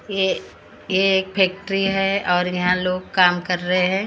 ये ये एक फैक्ट्री है और यहाँ लोग काम कर रहे हैं--